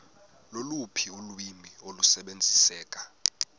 loluphi ulwimi olusebenziseka